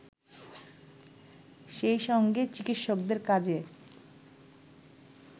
সেইসঙ্গে চিকিৎসকদের কাজে